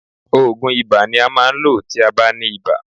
Òògùn ibà ni a máa ń lò tí a bá ní ibà.